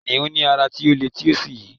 kìnìún ní ara ti o le ti o sí yi